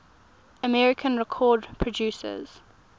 american record producers